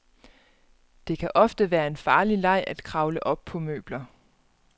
Det kan ofte være en farlig leg at kravle op på møbler.